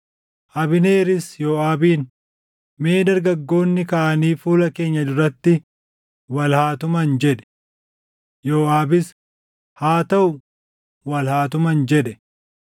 Abneeris Yooʼaabiin, “Mee dargaggoonni kaʼanii fuula keenya duratti wal haa tuman” jedhe. Yooʼaabis, “Haa taʼu; wal haa tuman” jedhe.